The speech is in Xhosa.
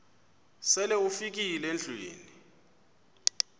sele ufikile endlwini